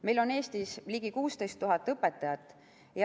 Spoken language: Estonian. Meil on Eestis ligi 16 000 õpetajat.